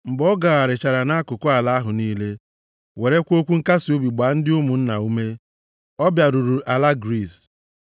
Mgbe ọ gagharịchara nʼakụkụ ala ahụ niile, werekwa okwu nkasiobi gbaa ndị ụmụnna ume, ọ bịaruru ala Griis.